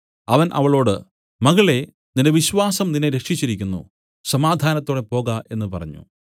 അവൻ അവളോട് മകളേ നിന്റെ വിശ്വാസം നിന്നെ രക്ഷിച്ചിരിക്കുന്നു സമാധാനത്തോടെ പോക എന്നു പറഞ്ഞു